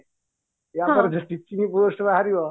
ୟା ପରେ ଯେତିକି post ବାହାରିବ